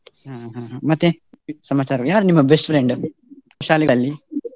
ಹ್ಮ್ ಹ್ಮ್ ಮತ್ತೆ ಸಮಾಚಾರ, ಯಾರು ನಿಮ್ಮ best friend ಶಾಲೆಯಲ್ಲಿ?